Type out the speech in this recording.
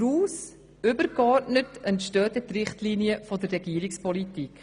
Daraus entstehen dann übergeordnet die Richtlinien der Regierungspolitik.